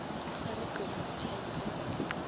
ba sa re tlogang tšhaile